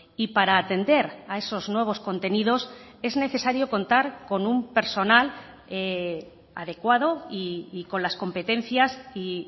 y para atender a esos nuevos contenidos es necesario contar con un personal adecuado y con las competencias y